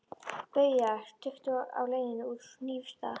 BAUJA: Tuttugu á leiðinni úr Hnífsdal.